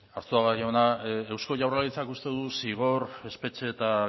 arzuaga jauna eusko jaurlaritzak uste du zigor espetxe eta